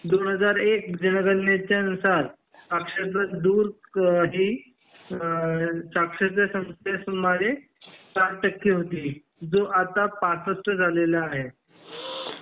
दोन हजार एक च्या जनगणणे नुसार साक्षरता दूर ही अ साक्षरता मध्ये सुमारे साठ टक्के होती जो आता पासष्ठ झालेला आहे